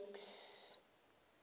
max